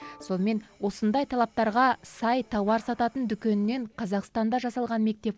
сонымен осындай талаптарға сай тауар сататын дүкеннен қазақстанда жасалған мектеп